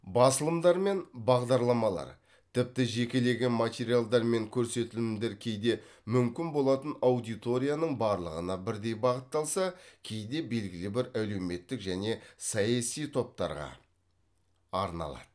басылымдар мен бағдарламалар тіпті жекелеген материалдар мен көрсетілімдер кейде мүмкін болатын аудиторияның барлығына бірдей бағытталса кейде белгілі бір әлеуметтік және саяси топтарға арналады